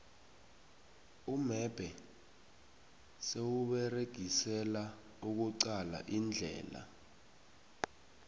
umebhe siwuberegisela ukuqala indlela